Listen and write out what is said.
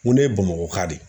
N ko ne ye bamakɔka de